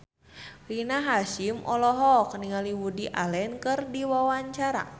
Rina Hasyim olohok ningali Woody Allen keur diwawancara